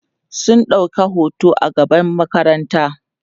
sun ɗauka hoto a gaban makaranta